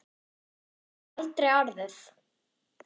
Það hefði aldrei orðið.